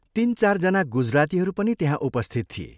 तीन चान जना गुजरातीहरू पनि त्यहाँ उपस्थित थिए।